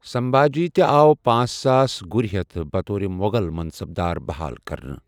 سنبھاجی تہِ آو پانژھ ساس گُرِ ہیتھ بطومُو٘غل منصَب دار بَحال کرنہٕ ۔